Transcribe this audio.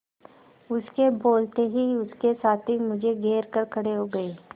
उसके बोलते ही उसके साथी मुझे घेर कर खड़े हो गए